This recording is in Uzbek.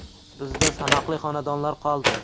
Bizda sanoqli xonadonlar qoldi!